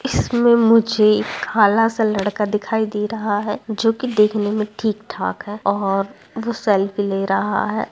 इसमें मुझे काला सा लड़का दिखाई दे रहा है जो कि देखने में ठीक-ठाक लग रहा है और वो सेल्फी ले रहा है।